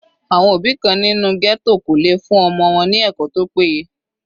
Àwọn òbí kan nínú ghetto kò lè fún ọmọ wọn ní ẹ̀kọ́ tó péye.